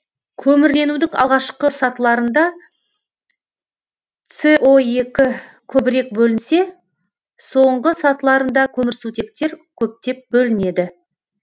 көмірленудің алғашқы сатыларында с көбірек бөлінсе соңғы сатыларында көмірсутектер көптеп бөлінеді